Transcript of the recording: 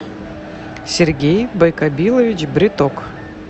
сергей байкобилович бриток